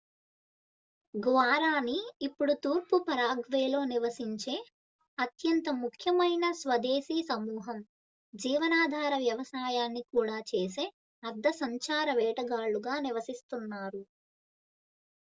Guarani ఇప్పుడు తూర్పు పరాగ్వేలో నివసించే అత్యంత ముఖ్యమైన స్వదేశీ సమూహం జీవనాధార వ్యవసాయాన్ని కూడా చేసే అర్థ సంచార వేటగాళ్ళుగా నివసిస్తున్నారు